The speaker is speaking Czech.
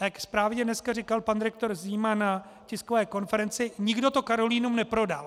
A jak správně dneska říkal pan rektor Zima na tiskové konferenci, nikdo to Karolinum neprodal.